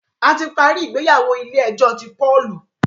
a ti parí ìgbéyàwó ilé ejó tí Paul.